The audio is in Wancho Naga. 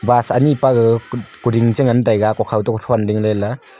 bus anyi pa gaga kudinh che ngan taiga hukhaw to thon ding le ley.